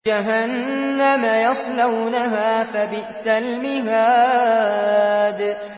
جَهَنَّمَ يَصْلَوْنَهَا فَبِئْسَ الْمِهَادُ